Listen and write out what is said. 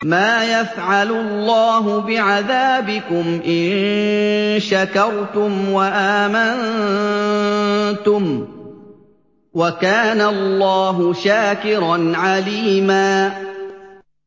مَّا يَفْعَلُ اللَّهُ بِعَذَابِكُمْ إِن شَكَرْتُمْ وَآمَنتُمْ ۚ وَكَانَ اللَّهُ شَاكِرًا عَلِيمًا